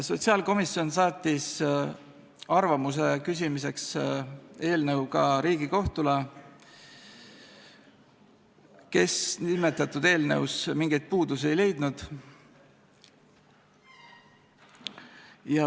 Sotsiaalkomisjon saatis arvamuse saamiseks eelnõu ka Riigikohtule, kes nimetatud eelnõus mingeid puudusi ei leidnud.